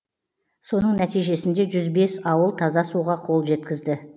соның нәтижесінде жүз бес ауыл таза суға қол жеткізді